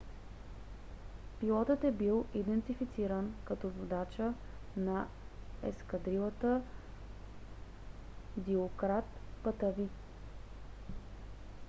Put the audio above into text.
пилотът е бил идентифициран като водача на ескадрилата дилократ патави